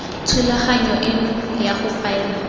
thulaganyo eno ya go faela